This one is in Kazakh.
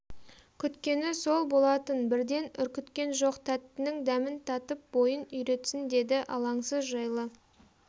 күткені сол болатын бірден үркіткен жоқ тәттінің дәмін татып бойын үйретсін деді алаңсыз жайлы